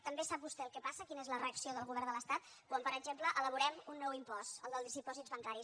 també sap vostè el que passa quina és la reacció del govern de l’estat quan per exemple elaborem un nou impost el dels dipòsits bancaris